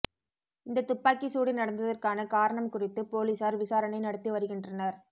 இந்த துப்பாக்கிச் சூடு நடந்ததற்கான காரணம் குறித்து பொலிஸார் விசாரணை நடத்தி வருகின்றனர்